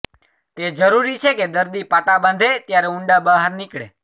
તે જરૂરી છે કે દર્દી પાટા બાંધે ત્યારે ઊંડા બહાર નીકળે